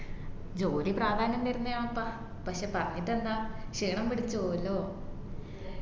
ജോലി പ്രാധാന്യം തരുന്നതെന്നെയാപ്പാ പക്ഷേ പറഞ്ഞിട്ടെന്താ ക്ഷീണംപിടിച്ചപോവുഅല്ലോ